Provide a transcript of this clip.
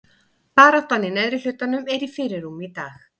Baráttan í neðri hlutanum er í fyrirrúmi í dag.